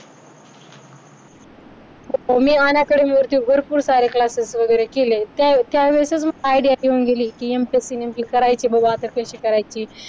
मी भरपूर सारे classes वगैरे केले. त्यावेळेसच idea येऊन गेली. की MPSC नेमकी करायची बघू आता कशी करायची